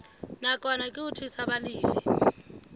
nakwana ke ho thusa balefi